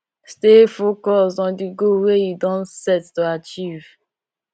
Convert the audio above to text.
stay focused on di goal wey you don set to achieve